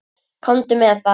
Komdu með það.